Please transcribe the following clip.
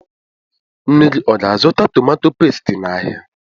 Nne gị ọ ga- azụta tomato pestie n' áhiá?